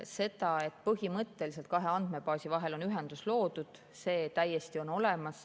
See, et põhimõtteliselt on kahe andmebaasi vahel ühendus loodud, on täiesti nii.